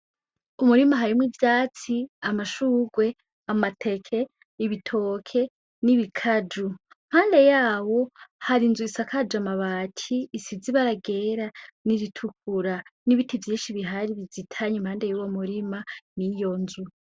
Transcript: Umurima harimwo ivyatsi, amashurwe, amateke, ibitoke, n’ibikaju. Impande yawo hari inzu isakaye amabati, isize ibara ryera n’iritukura. N’ibiti vyinshi bihari bizitanye impande y’uwo murima n’iyo nzu.